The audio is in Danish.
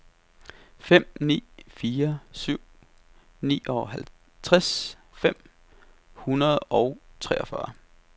fem ni fire syv nioghalvtreds fem hundrede og treogfyrre